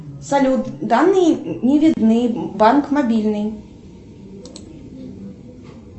салют данные не видны банк мобильный